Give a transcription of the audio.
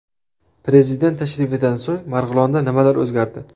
Prezident tashrifidan so‘ng Marg‘ilonda nimalar o‘zgardi?